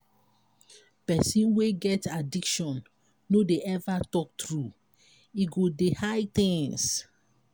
pesin wey get addiction no dey ever talk true e go dey hide things.